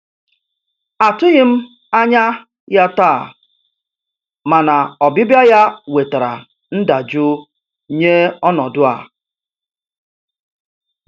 Atụghị m anya ya taa, mana ọbịbịa ya wetara ndajụ nye ọnọdụ a.